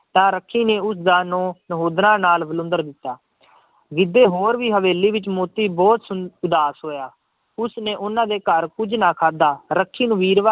ਤਾਂ ਰੱਖੀ ਨੇ ਉਸਦਾ ਨੂੰਹ ਨਹੋਦਰਾਂ ਨਾਲ ਵਿਲੁੰਦਰ ਦਿੱਤਾ ਗਿੱਧੇ ਹੋਰ ਵੀ ਹਵੇਲੀ ਵਿੱਚ ਮੋਤੀ ਬਹੁਤ ਸੁਣ ਉਦਾਸ ਹੋਇਆ, ਉਸਨੇ ਉਹਨਾਂ ਦੇ ਘਰ ਕੁੱਝ ਨਾ ਖਾਧਾ ਰੱਖੀ ਨੂੰ ਵੀਰਵਾ~